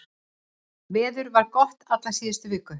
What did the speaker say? Veður var gott alla síðustu viku